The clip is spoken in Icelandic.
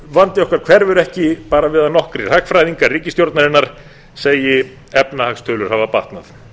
vandi okkar hverfur ekki við að nokkrir hagfræðingar ríkisstjórnarinnar segi efnahagstölur hafa batnað